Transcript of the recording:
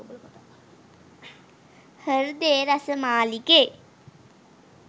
හර්දේ රස මාලිගේ